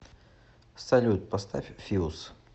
салют поставь филс